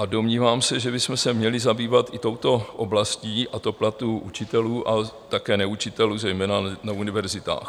A domnívám se, že bychom se měli zabývat i touto oblastí, a to platů učitelů a také neučitelů zejména na univerzitách.